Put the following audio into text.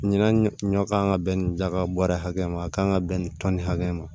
Ɲinan ɲɔ kan ka bɛn nin daga bɔrɛ hakɛ ma a kan ka bɛn nin tɔni hakɛ ma